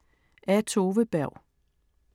Af Tove Berg